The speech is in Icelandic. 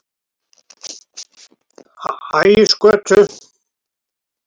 Ægisgötu